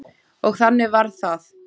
Og þannig varð það.